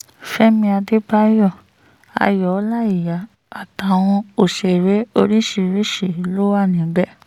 fẹ̀mí àdébáyọ̀ ayọ̀ ọláíyà àtàwọn òṣèré lóríṣìíríṣìí ló wà níbẹ̀